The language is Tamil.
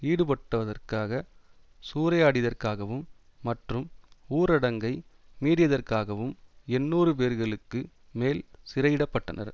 ஈடுபட்டவதற்காக சூறையாடியதற்காகவும் மற்றும் ஊரடங்கை மீறியதற்காகவும் எண்ணூறு பேர்களுக்கு மேல் சிறையிடப்பட்டனர்